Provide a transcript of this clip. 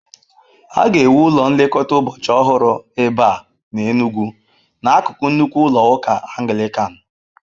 A ga-ewu ụlọ nlekọta ụbọchị ọhụrụ ebe a n'Enugwu, n'akụkụ nnukwu ụlọ ụka Anglican.